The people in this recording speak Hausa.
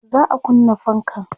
za'a kunna fankan